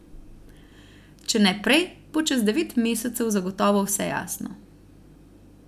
Če ne prej, bo čez devet mesecev zagotovo vse jasno.